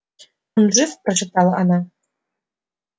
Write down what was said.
он жив прошептала она